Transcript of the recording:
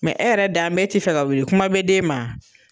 e yɛrɛ da an bɛ e ti fɛ ka wuli kuma bɛ den ma.